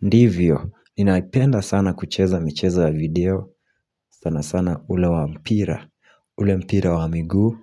Ndivyo, ninaipenda sana kucheza mmchezo ya video, sana sana ule wampira, ule mpira wa miguu,